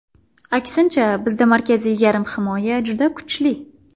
Aksincha, bizda markaziy yarim himoya juda kuchli.